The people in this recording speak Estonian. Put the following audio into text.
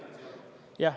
Jah.